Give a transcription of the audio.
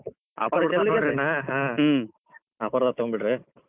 offer ದಾಗ ತೊಗೊಂಡಬಿದ್ರಿ.